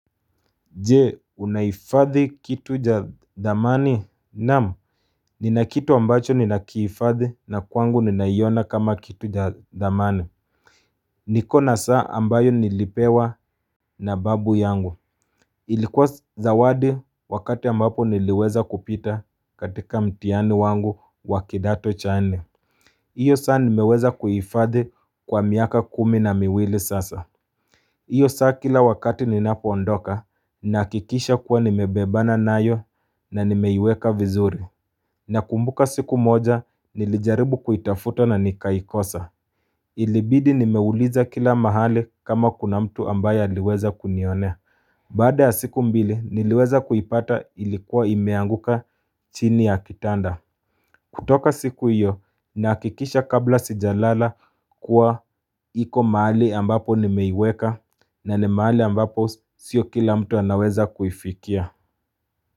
Jee, unahifadhi kitu cha dhamani? Naam, nina kitu ambacho nina kihifadhi na kwangu ninaiona kama kitu cha dhamana. Niko na saa ambayo nilipewa na babu yangu. Ilikuwa zawadi wakati ambapo niliweza kupita katika mtihani wangu wa kidato cha nne. Iyo saa nimeweza kuihifadhi kwa miaka kumi na miwili sasa. Iyo saa kila wakati ninapo ondoka, nahakikisha kuwa nimebebana nayo na nimeiweka vizuri. Nakumbuka siku moja, nilijaribu kuitafuto na nikaikosa. Ilibidi nimeuliza kila mahali kama kuna mtu ambaye aliweza kunionea. Baada ya siku mbili, niliweza kuipata ilikuwa imeanguka chini ya kitanda. Kutoka siku iyo nahakikisha kabla sijalala kuwa hiko mahali ambapo nimeiweka na ni mahali ambapo sio kila mtu anaweza kuifikia.